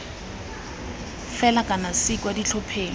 fela kana c kwa ditlhopheng